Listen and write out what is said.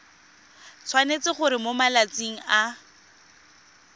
tshwanetse gore mo malatsing a